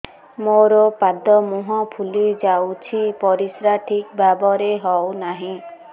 ମୋର ପାଦ ମୁହଁ ଫୁଲି ଯାଉଛି ପରିସ୍ରା ଠିକ୍ ଭାବରେ ହେଉନାହିଁ